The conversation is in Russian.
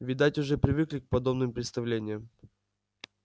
видать уже привыкли к подобным представлениям